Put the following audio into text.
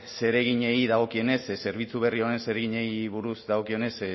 zereginei dagokionez zerbitzu berri honen zereginei buruz dagokionez